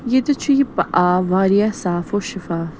.ییٚتٮ۪تھ چُھ یہِ پ آب واریاہ صاف وشفاف